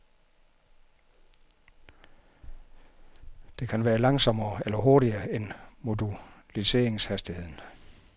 Det kan være langsommere eller hurtigere end moduleringshastigheden.